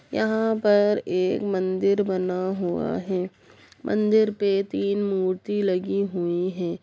यहाँ पर एक मंदिर बना हुआ है मंदिर पे तीन मूर्ति लगी हुई है।